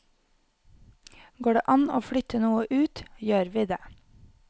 Går det an å flytte noe ut, gjør vi det.